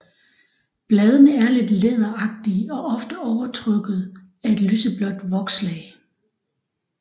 Bladene er lidt læderagtige og ofte overtrukket af et lyseblåt vokslag